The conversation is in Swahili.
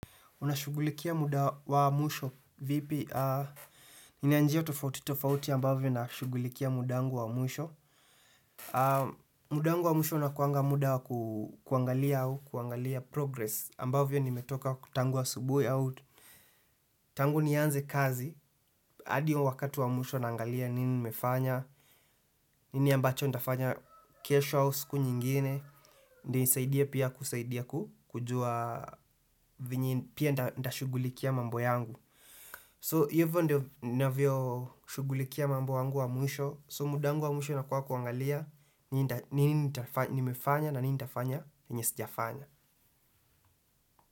Unashughulikia muda wa mwisho vipi? Nina njia tofauti tofauti ambavyo nina shughulikia muda wangu wa mwisho. Muda wangu wa mwisho unakuanga muda wa kuangalia au, kuangalia progress ambavyo nimetoka tangu asubui au. Tangu nianze kazi, hadi wakati wa mwisho naangalia nini nimefanya, nini ambacho nitafanya kesho au siku nyingine, ndio isaidie pia kusaidia kujua venye pia nitashughulikia mambo yangu. So hivo ndio ninavyo shughulikia mambo wangu wa mwisho So mud wangu wa mwisho inakuwa kuangalia nini nitafanya na nini nitafanya yenye sijafanya.